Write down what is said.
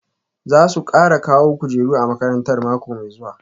Za su kara kawo kujeru a makarantar mako mai zuwa